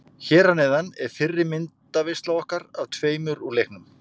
Hér að neðan er fyrri myndaveisla okkar af tveimur úr leiknum.